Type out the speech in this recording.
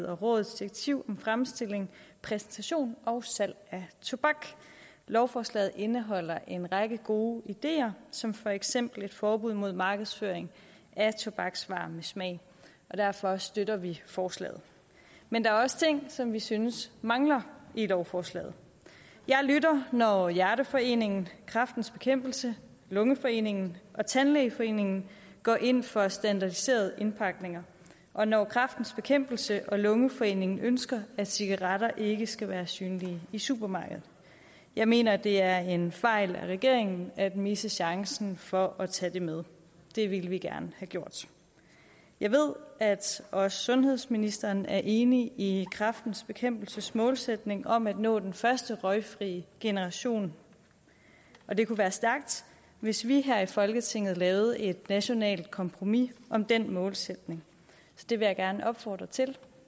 og rådets direktiv om fremstilling præsentation og salg af tobak lovforslaget indeholder en række gode ideer som for eksempel et forbud mod markedsføring af tobaksvarer med smag og derfor støtter vi forslaget men der er også ting som vi synes mangler i lovforslaget jeg lytter når hjerteforeningen kræftens bekæmpelse lungeforeningen og tandlægeforeningen går ind for standardiserede indpakninger og når kræftens bekæmpelse og lungeforeningen ønsker at cigaretter ikke skal være synlige i supermarkeder jeg mener det er en fejl af regeringen at misse chancen for at tage det med det ville vi gerne have gjort jeg ved at også sundhedsministeren er enig i kræftens bekæmpelses målsætning om at nå den første røgfri generation og det kunne være stærkt hvis vi her i folketinget lavede et nationalt kompromis om den målsætning så det vil jeg gerne opfordre til